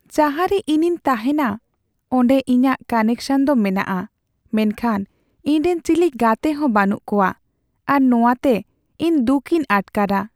ᱡᱟᱦᱟᱨᱮ ᱤᱧᱤᱧ ᱛᱟᱦᱮᱱᱟ ᱚᱸᱰᱮ ᱤᱧᱟᱹᱜ ᱠᱟᱱᱮᱠᱥᱚᱱ ᱫᱚ ᱢᱮᱱᱟᱜᱼᱟ, ᱢᱮᱱᱠᱷᱟᱱ ᱤᱧᱨᱮᱱ ᱪᱤᱞᱤ ᱜᱟᱛᱮ ᱦᱚᱸ ᱵᱟᱹᱱᱩᱜ ᱠᱚᱣᱟ ᱟᱨ ᱱᱚᱶᱟᱛᱮ ᱤᱧ ᱫᱩᱠᱤᱧ ᱟᱴᱠᱟᱨᱟ ᱾